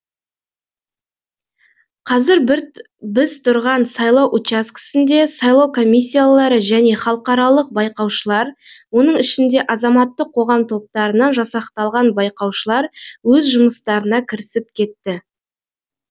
қазір біз тұрған сайлау учаскесінде сайлау комиссиялары және халықаралық байқаушылар оның ішінде азаматтық қоғам топтарынан жасақталған байқаушылар өз жұмыстарына кірісіп кетті